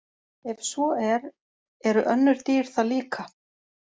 Ef svo er, eru önnur dýr það líka?